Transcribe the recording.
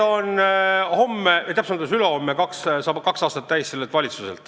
" Homme või täpsemalt öeldes ülehomme saab kaks aastat täis sellel valitsusel.